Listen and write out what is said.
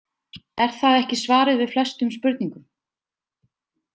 Er það ekki svarið við flestum spurningum?